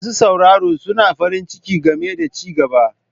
Masu sauraro suna farin ciki game da ci gaba.